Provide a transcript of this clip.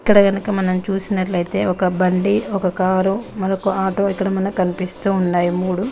ఇక్కడ గనక మనం చూసినట్లయితే ఒక బండి ఒక కారు మరోక ఆటో ఇక్కడ మనకు కనిపిస్తున్నాయి మూడు.